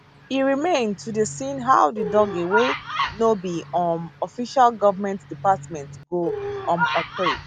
e remain to dey seen how di doge wey no be um official govment department go um operate